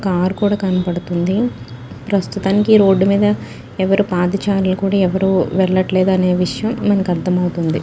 Car కూడా కనపడుతుందిప్రస్తుతానికి road మీద ఎవ్వరూ పాదచారులు కూడా ఎవ్వరూ వెళ్ళట్లేదు అనే విషయం మనకు అర్థమవుతోంది.